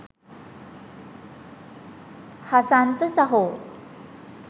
හසන්ත සහෝ